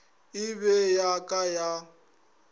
e be ya ka ya